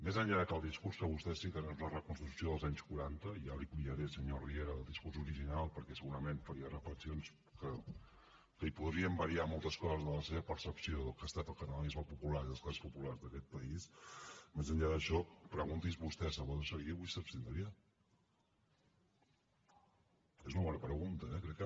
més enllà de que el discurs que vostès citen és la reconstrucció dels anys quaranta i ara ja li enviaré senyor riera el discurs original perquè segurament faria reflexions que li podrien variar moltes coses de la seva percepció del que ha estat el catalanisme popular i les classes populars d’aquest país més enllà d’això pregunti’s vostè salvador seguí avui s’abstindria és una bona pregunta eh crec que